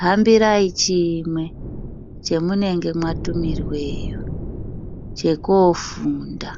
hambirai chimwe chamunenge matumirwa chekofunda.